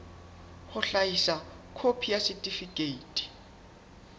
ho hlahisa khopi ya setifikeiti